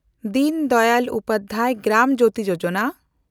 ᱫᱤᱱ ᱫᱟᱭᱟᱞ ᱩᱯᱟᱫᱽᱫᱷᱟᱭ ᱜᱨᱟᱢ ᱡᱳᱛᱤ ᱡᱳᱡᱚᱱᱟ